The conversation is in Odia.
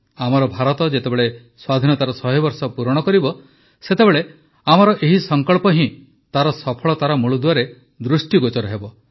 ଆମର ଭାରତ ଯେତେବେଳେ ସ୍ୱାଧୀନତାର ଶହେ ବର୍ଷ ପୂରଣ କରିବ ସେତେବେଳେ ଆମର ଏହି ସଂକଳ୍ପ ହିଁ ତାର ସଫଳତାର ମୂଳଦୁଆରେ ଦୃଷ୍ଟିଗୋଚର ହେବ